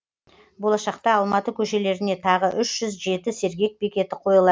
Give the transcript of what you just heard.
болашақта алматы көшелеріне тағы үш жүз жеті сергек бекеті қойылады